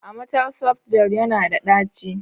Amatel softgel yana da ɗaci?